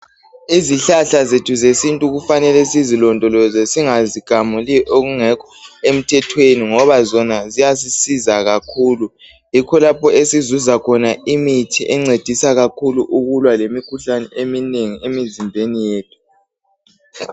Izihlahla zethu zesintu kufanele sizilondoloze singazigamuli okungekho emthethweni, ngoba zona ziyasisiza kakhulu. Yikho lapho esizuza khona imithi encedisa kakhulu ukulwa lemikhuhlane eminengi emizimbeni yethu.